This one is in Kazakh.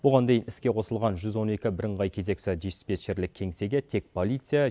оған дейін іске қосылған жүз он екі бірыңғай кезекші диспетчерлік кеңсеге тек полиция